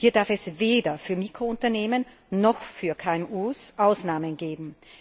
Hier darf es weder für Mikrounternehmen noch für KMU Ausnahmen geben.